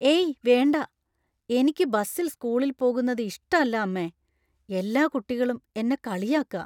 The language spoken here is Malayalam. ഏയ് വേണ്ട! എനിക്ക് ബസിൽ സ്കൂളിൽ പോകുന്നത് ഇഷ്ടല്ല, അമ്മേ. എല്ലാ കുട്ടികളും എന്നെ കളിയാക്ക.